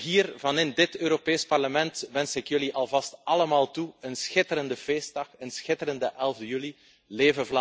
Hier vanuit dit Europees Parlement wens ik jullie alvast allemaal een schitterende feestdag, een schitterende 11e juli toe.